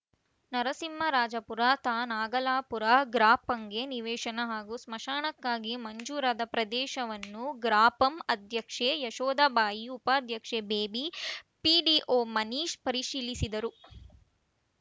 ನರಸಿಂಹರಾಜಪುರ ತಾ ನಾಗಲಾಪುರ ಗ್ರಾಪಂಗೆ ನಿವೇಶನ ಹಾಗೂ ಸ್ಮಶಾನಕ್ಕಾಗಿ ಮಂಜೂರಾದ ಪ್ರದೇಶವನ್ನು ಗ್ರಾಪಂ ಅಧ್ಯಕ್ಷೆ ಯಶೋಧ ಬಾಯಿ ಉಪಾಧ್ಯಕ್ಷೆ ಬೇಬಿ ಪಿಡಿಒ ಮನೀಶ್‌ ಪರಿಶೀಲಿಸಿದರು